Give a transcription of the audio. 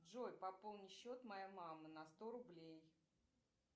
джой пополни счет моей мамы на сто рублей